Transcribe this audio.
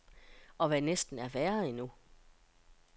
Og hvad næsten er værre endnu.